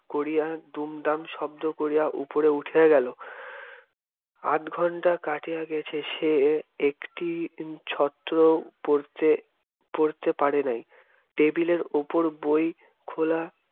করিয়া দুমদাম শব্দ করিয়া উপরে উঠিয়া গেল আধঘণ্টা কাটিয়া গিয়াছে সে একটি ছত্রও পড়তে পড়তে পড়ে নাই টেবিলের উপর বই খোলা